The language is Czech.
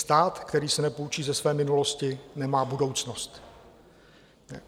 Stát, který se nepoučí ze své minulosti, nemá budoucnost.